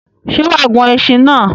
Sé wàá gun esin náà?